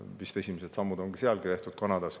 Vist on esimesed sammud Kanadas tehtud.